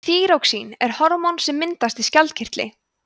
þýróxín er hormón sem myndast í skjaldkirtli